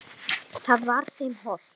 Það var þeim hollt.